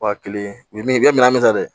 Wa kelen u ye min kɛ minɛn min ta dɛ